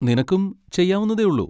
നിനക്കും ചെയ്യാവുന്നതേയുള്ളൂ.